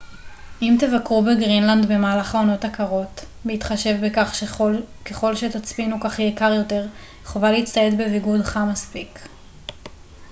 אם תבקרו בגרינלנד במהלך העונות הקרות בהתחשב בכך שככל שתצפינו כך יהיה קר יותר חובה להצטייד בביגוד חם מספיק